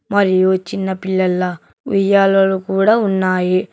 మరియు చిన్న పిల్లల ఉయ్యాలలు కూడా ఉన్నాయి.